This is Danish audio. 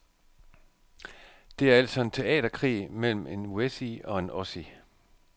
Det er altså en teaterkrig mellem en wessie og en ossie.